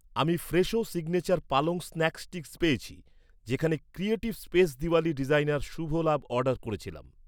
আমি Fresho signature পালং snack sticks পেয়েছি, যেখানে ক্রিয়েটিভ স্পেস দিওয়ালী ডিজাইনার শুভ লাভ অর্ডার করেছিলাম